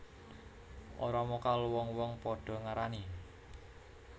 Ora mokal wong wong padha ngarani